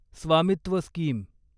स्वामित्व स्कीम